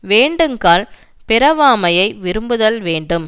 வேண்டுங்கால் பிறவாமையை விரும்புதல் வேண்டும்